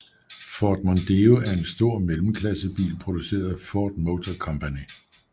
Ford Mondeo er en stor mellemklassebil produceret af Ford Motor Company